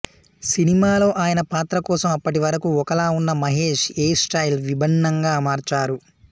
సినిమాలో ఆయన పాత్ర కోసం అప్పటివరకూ ఒకలా ఉన్న మహేష్ హెయిర్ స్టైల్ విభిన్నంగా మార్చారు